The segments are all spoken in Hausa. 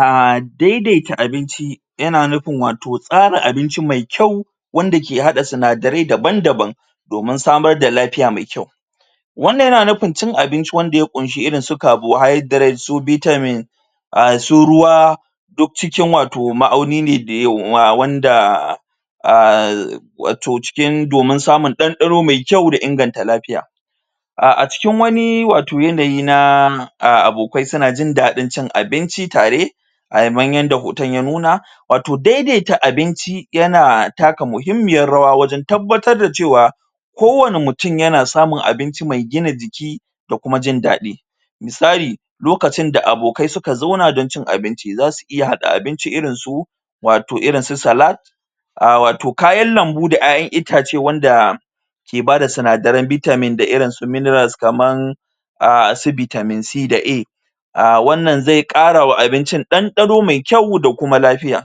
Aaaa daidaita abinci yana nufin wato tsara abinci mai kyau wanda ke haɗa sinadare daban-daban domin samar da lafiya mai kyau wannan yana nufin cin abinci wanda ya ƙunshi irin su carbohydrate su vitamin a su ruwa duk cikin wato ma'auni ne da wanda um wato cikin domin samun ɗanɗano mai kyau da inganta lafiya a a cikin wani wato yanayi na abokai suna jin daɗin cin abinci tare a yanda hoton ya nuna wato daidaita abinci yana taka muhimmiyar rawa wajen tabbatar da cewa kowani mutum yana samun abinci mai gina jiki da kuma jin daɗi misali lokacin da abokai suka zauna don cin abinci za su iya haa abinci irin su wato irin su salad a wato kayan lambu da kayan itace wanda ke bada sinadaren vitamin da irin su mineral kaman a su vitamin C da A a wannan zai kara wa abincin ɗanɗano mai kyau da kuma lafiya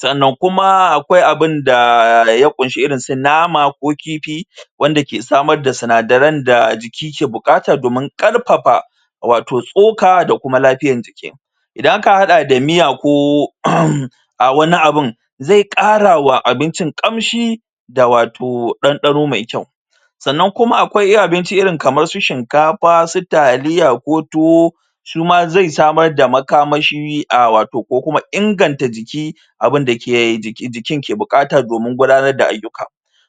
sannan kuma akwai abinda ya ƙunsa irin su nama ko kifi wanda samar da sinadaren da jiki ke buƙata domin ƙarfafa wato tsoka da kuma lafiyar jiki idan aka haɗa da miya ko a wani abun zai ƙarawa abincin ƙamshi da wato ɗanɗano mai kyau sannan kuma akwai abinci irin kamar su shinkafa su taliya ko tuwo su ma zai samar da makamashi a wato ko kuma inganta jiki abinda ke jiki jikin ke buƙata domin gudanar da ayyuka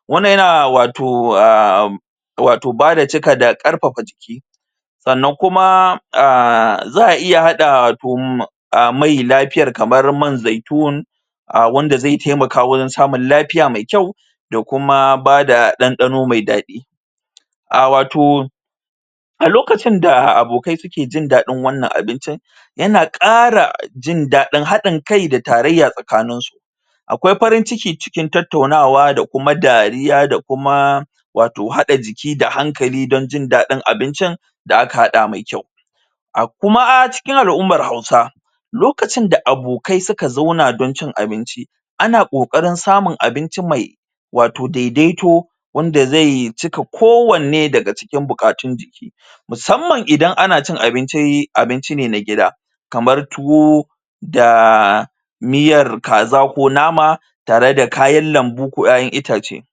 wannan yana wato um wato bada cika karfafa jiki sannan kuma a za a iya hada a mai lafiyar kamar man zaitun a wanda zai taimaka wajen samun lafiya mai kyau da kuma bada ɗandano mai daɗi a wato a lokacin abokai suke jin daɗin wannan abincin yana ƙara jin daɗin haɗin kai tarayya a cikin su akwai farin ciki cikin tattaaunawa da kuma dariya da kuma wato haɗa jiki da hankali don jin daɗin abincin da aka haɗa mai kyau a kuma cikin al'ummar hausa lokacin da abokai suka zauna don cin abinci ana ƙoƙarin samun abinci mai wato daidaito wanda zai cika kowanne daga cikin buƙatun jiki musamman idan an cin abinci abinci ne na gida kamar tuwo da miyar kaza ko nama tare da kayan lambu ko kayan itace.